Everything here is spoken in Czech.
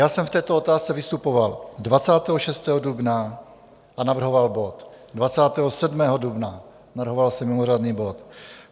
Já jsem v této otázce vystupoval 26. dubna a navrhoval bod, 27. dubna, navrhoval jsem mimořádný bod.